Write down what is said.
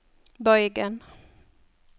bøygen